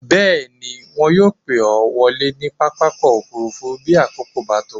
Bẹ́ẹ̀ ni, wọn yóò pè ọ́ wọlé ní pápákọ̀-òfurufú bí àkókò bá tó.